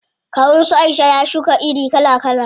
Kawun su Aisha ya shuka iri kala kala.